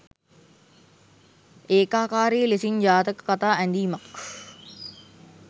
ඒකාකාරී ලෙසින් ජාතක කථා ඇඳීමක්